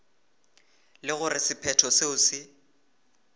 le gore sephetho seo se